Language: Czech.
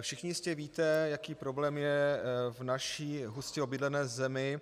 Všichni jistě víte, jaký problém je v naší hustě obydlené zemi